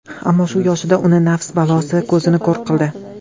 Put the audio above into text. Ammo, shu yoshida uni nafs balosi ko‘zini ko‘r qildi.